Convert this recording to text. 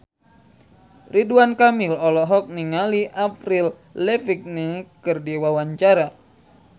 Ridwan Kamil olohok ningali Avril Lavigne keur diwawancara